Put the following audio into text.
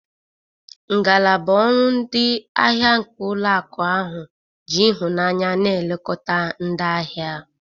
Ngalaba ọrụ ndị ahịa nke ụlọ akụ ahụ ji ịhụnanya na-elekota ndị ahịa.